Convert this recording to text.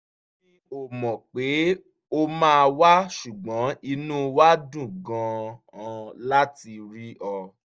mi ò mọ̀ pé o máa wá ṣùgbọ́n inú wa dùn gan-an láti rí ọ